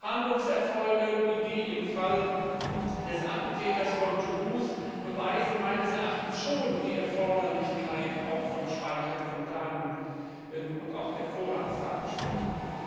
Fahndungserfolge wie die im Fall des Attentäters von Toulouse beweisen meines Erachtens schon die Erforderlichkeit der Speicherung von Daten und auch der Vorratsdatenspeicherung.